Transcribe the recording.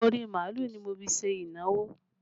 Orí màálù ni mo fi ṣe ìnáwó